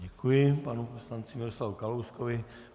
Děkuji panu poslanci Miroslavu Kalouskovi.